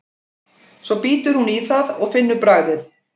Svo bítur hún í það og finnur bragðið.